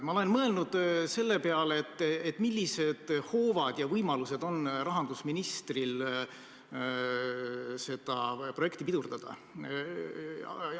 Ma olen mõelnud selle peale, millised hoovad ja võimalused on rahandusministril seda projekti pidurdada.